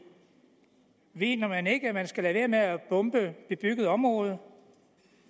mener man ikke at man skal lade være med at bombe bebyggede områder